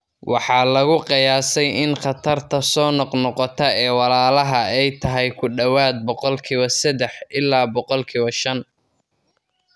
Waxaa lagu qiyaasay in khatarta soo noqnoqota ee walaalaha ay tahay ku dhawaad ​boqolkiba sadah ilaa boqolkiba shan.